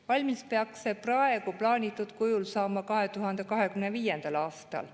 Valmis peaks see praegu plaanitud kujul saama 2025. aastal.